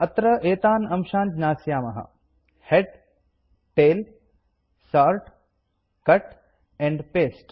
अत्र एतान् अंशान् ज्ञास्यामः head tail sort cut and paste